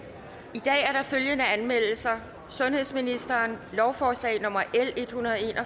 i dag er der følgende anmeldelser sundhedsministeren lovforslag nummer l en hundrede og